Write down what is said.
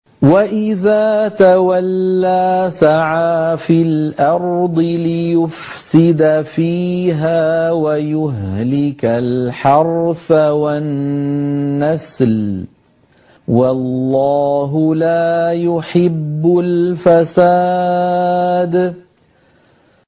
وَإِذَا تَوَلَّىٰ سَعَىٰ فِي الْأَرْضِ لِيُفْسِدَ فِيهَا وَيُهْلِكَ الْحَرْثَ وَالنَّسْلَ ۗ وَاللَّهُ لَا يُحِبُّ الْفَسَادَ